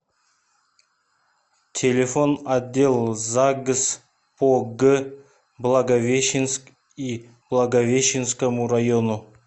телефон отдел загс по г благовещенск и благовещенскому району